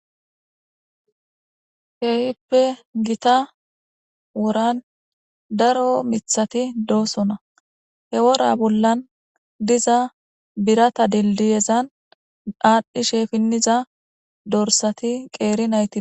Keyippe gita woran daro mithati doosona he wora bollan diza birata dildiyezan daadhdhishe finniza dorsati qeeri nayti.